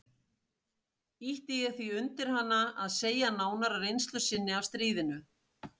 Ýtti ég því undir hana að segja nánar af reynslu sinni af stríðinu.